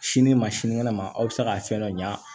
Sini ma sinikɛnɛ ma aw bɛ se ka fɛn dɔ ɲa